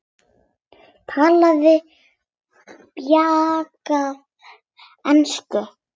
Talaði bjagaða ensku: